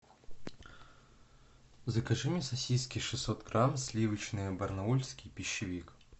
закажи мне сосиски шестьсот грамм сливочные барнаульский пищевик